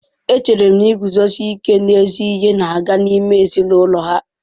Echere m na iguzosi ike n'ezi ihe na-aga n'ime ezinụlọ ha.